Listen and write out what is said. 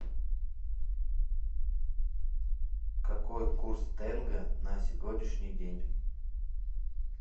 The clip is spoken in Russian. какой курс тенге на сегодняшний день